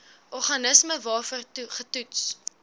organisme waarvoor getoets